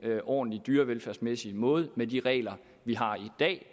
ordentlig dyrevelfærdsmæssig måde med de regler vi har i dag